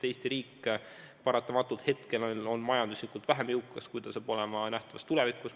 Eesti riik paratamatult on praegu vähem jõukas, kui ta saab olema nähtavas tulevikus.